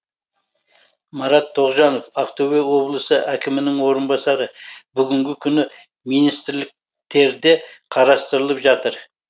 марат тоғжанов ақтөбе облысы әкімінің орынбасары бүгінгі күні министрліктерде қарастырылып жатыр